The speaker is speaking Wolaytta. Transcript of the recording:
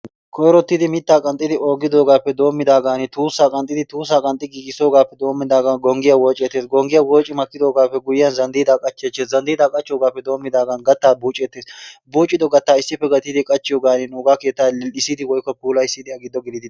Koyirottidi mittaa qanxxidi oogidoogaappe doommidaagaani tuussaa qanxidi, tuussaa qanxi giigissoogaappe doommidaagan gongiy wooceettes. Gongiya wooci makkidoogaappe guyiyan zandiidaa qachcheettes. Zandiidaa qachchoogaappe doommidaagan gattaa buuceettes. Buucido gattaa issippe gattidi qachchiyoogaani nuugaa keettaa lil'issidi woyikko puulayisidi a giddo gelidi...